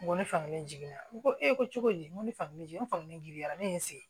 N ko ne fankelen jiginna n ko e ko cogo di n ko ne fankelen jigi fankelen giririyara ne ye n sigi